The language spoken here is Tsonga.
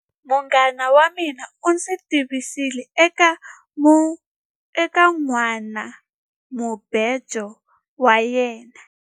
Munghana wa mina u ndzi tivisile eka nhwanamubejo wa yena.